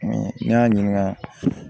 ne y'a ɲininka